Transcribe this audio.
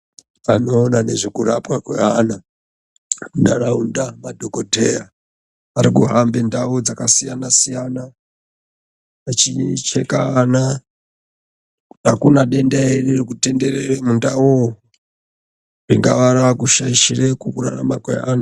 Vanoona nezvekurapwa kweana munharaunda, madhokodheya. Ari kuhambe ndau dzakasiyana-siyana, vachicheka ana, kuti akuna denda ere ririkutenderere mundaumwo, ringaa raakushaishire kurarama kweanhu.